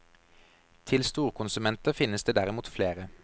Til storkonsumenter finnes det derimot flere.